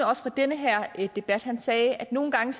også den her debat han sagde at nogle gange